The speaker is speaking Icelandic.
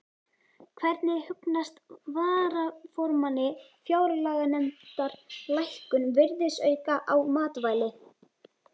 Hvernig hugnast varaformanni fjárlaganefndar lækkun virðisauka á matvæli?